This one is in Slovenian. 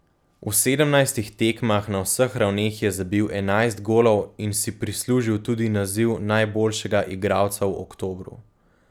V sedemnajstih tekmah na vseh ravneh je zabil enajst golov in si prislužil tudi naziv najboljšega igralca v oktobru.